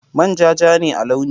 Manja ja ne a launi.